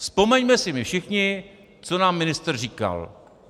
Vzpomeňme si my všichni, co nám ministr říkal.